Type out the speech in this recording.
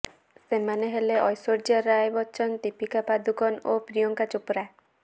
ସେମାନେ ହେଲେ ଐଶ୍ୱର୍ଯ୍ୟା ରାୟ ବଚ୍ଚନ ଦୀପିକା ପାଦୁକୋନ୍ ଓ ପ୍ରିୟଙ୍କା ଚୋପ୍ରା